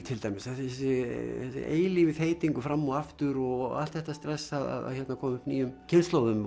til dæmis þessi eilífi fram og aftur og allt þetta stress að koma upp nýjum kynslóðum